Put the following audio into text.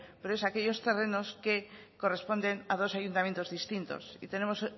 pero es aquellos terrenos que corresponden a dos ayuntamientos distintos y tenemos